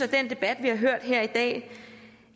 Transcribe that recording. den debat vi har hørt her i dag